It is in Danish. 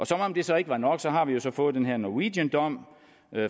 som om det så ikke var nok har vi så fået den her norwegiandom